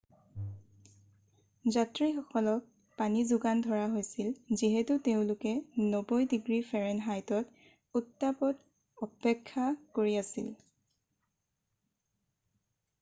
যাত্ৰীসকলক পানী যোগান ধৰা হৈছিল যিহেতু তেওঁলোকে 90 ডিগ্ৰী ফাৰেনহাইট উত্তাপত অপেক্ষা কৰি আছিল